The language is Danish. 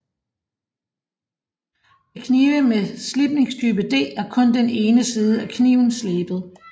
Ved knive med slibningstype D er kun den ene side af kniven slebet